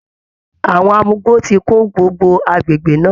Àwọn amugbó ti kún gbogbo agbègbè náà